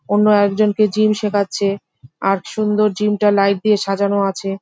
অন্য একজনকে জিম শেখাচ্ছে আর সুন্দর জিম টা লাইট দিয়ে সাজানো আছে।